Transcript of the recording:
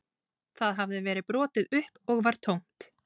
Það hafði verið brotið upp og var tómt